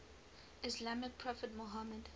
islamic prophet muhammad